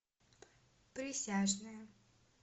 присяжные